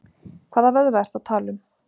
Hvaða vöðva ertu að tala um?